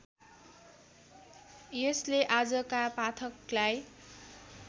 यसले आजका पाठकलाई